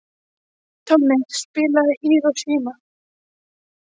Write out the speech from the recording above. Tommi, spilaðu lagið „Hiroshima“.